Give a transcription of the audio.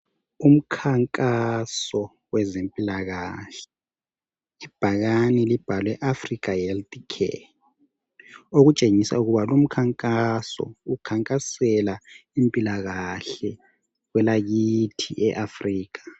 Umkhankaso wezempilakahle ibhakane elibhalwe Africa health care okutshengisa ukuba lumkhankaso ukhankasela impilakahle kwelakithi e Africa